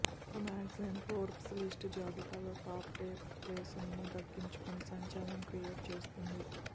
ప్రముఖ magazine Forbes list జాబితాలో top ten ప్లేస్ను దక్కించుకుని సంచలనం క్రియేట్ చేస్తోంది